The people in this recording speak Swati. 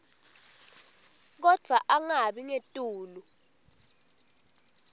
kodvwa angabi ngetulu